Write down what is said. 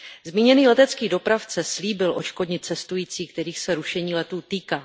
Zmíněný letecký dopravce slíbil odškodnit cestující, kterých se rušení letů týká.